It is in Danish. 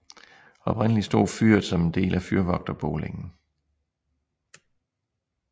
Oprindelig stod fyret som en del af fyrvogterboligen